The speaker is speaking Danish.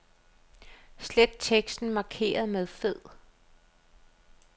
Slet teksten markeret med fed.